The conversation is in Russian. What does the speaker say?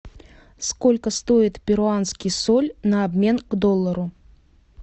сколько стоит перуанский соль на обмен к доллару